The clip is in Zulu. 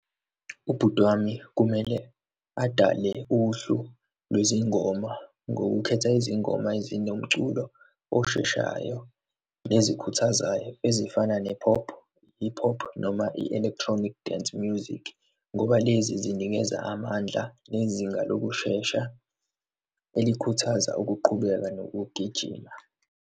Ubhut'wami kumele adale uhlu lwezingoma ngokukhetha izingoma ezine, umculo osheshayo, nezikhuthazayo, ezifana ne-pop, hip hop noma i-electronic dance music, ngoba lezi zinikeza amandla nezinga lokushesha elikhuthaza ukuqhubeka nokugijima.